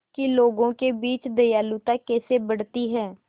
कि लोगों के बीच दयालुता कैसे बढ़ती है